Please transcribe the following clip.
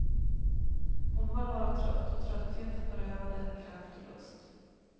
Hon var bara trött och tröttheten berövade henne kraft och lust.